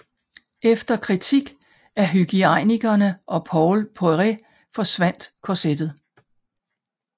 Efter kritik af hygiejnikerne og Paul Poiret forsvandt korsettet